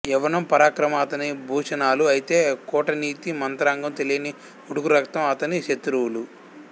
యవ్వనం పరాక్రమం అతని భూషణాలు అయితే కూటనీతి మంత్రాంగం తెలియని ఉడుకు రక్తం అతని శత్రువులు